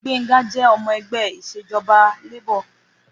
Gbénró jẹ́ ọmọ ẹgbẹ́ Ìṣèjọ́ba Labour.